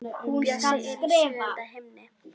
Bjössi er í sjöunda himni.